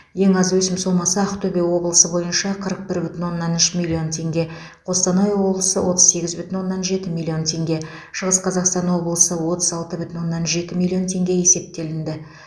ең аз өсім сомасы ақтөбе облысы бойынша қырық бір бүтін оннан үш миллион теңге қостанай облысы отыз сегіз бүтін оннан жеті миллион теңге шығыс қазақстан облысы отыз алты бүтін оннан жеті миллион теңге есептелінді